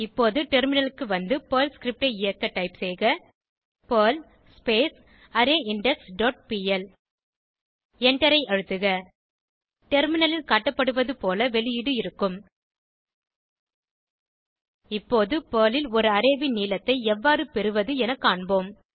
இப்போது டெர்மினலுக்கு வந்து பெர்ல் ஸ்கிரிப்ட் ல் இயக்க டைப் செய்க பெர்ல் அரேயிண்டெக்ஸ் டாட் பிஎல் எண்டரை அழுத்துக டெர்மினலில் காட்டப்படுவது போல வெளியீடு இருக்கும் இப்போது பெர்ல் ல் ஒரு அரே ன் நீளத்தை எவ்வாறு பெறுவது என காண்போம்